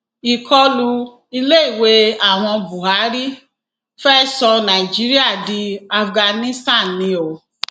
ìkọlù iléèwé àwọn buhari fee sọ nàìjíríà di afghanistan ni o